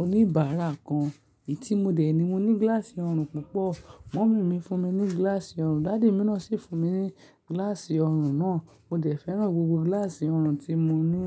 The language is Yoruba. oníbàárà kan. Èyí tí mo dè ẹ́ ni mo ní gíláàsì ọrùn púpọ̀. Mummy mi fún mi ní gíláàsì ọrùn, daddy mi náà sì fún mi ní gíláàsì ọrùn náà. Mo dẹ̀ fẹ́ràn gbogbo gíláàsì ọrùn tí mo ní.